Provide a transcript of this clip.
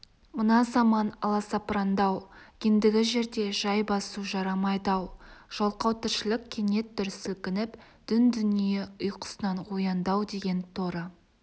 мына заман аласапырандау ендігі жерде жай басу жарамайды-ау жалқау тіршілік кенет дүр сілкініп дүн-дүние ұйқысынан оянды-ау деген торы